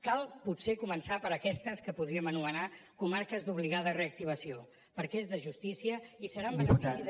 cal potser començar per aquestes que podríem anomenar comarques d’obligada reactivació perquè és de justícia i serà en benefici